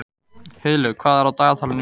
Heiðlaug, hvað er á dagatalinu mínu í dag?